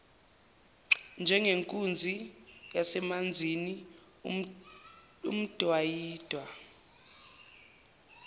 njengenkunzi yasemanzini emdwayidwa